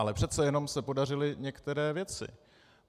Ale přece jenom se podařily některé věci.